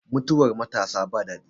Mutuwar matasa ba daɗi